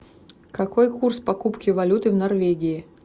какой курс покупки валюты в норвегии